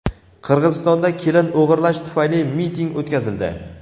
Qirg‘izistonda kelin o‘g‘irlash tufayli miting o‘tkazildi.